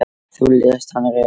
Þú lést hann reka mig